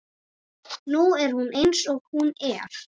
Nú er hún eins og hún er.